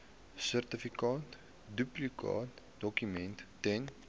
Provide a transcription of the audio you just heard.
sertifikaat duplikaatdokument ten